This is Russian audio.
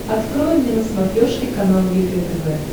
открой мне на смотрешке канал егэ тв